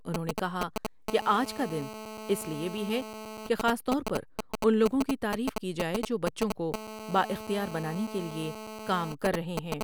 انہوں نے کہا کہ آج کا دن اس لئے بھی ہے کہ خاص طور پر ان لوگوں کی تعریف کی جائے جو بچوں کو با اختیار بنانے کے لئے کام کر رہے ہیں ۔